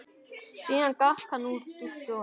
Síðan gekk hann úr stofu.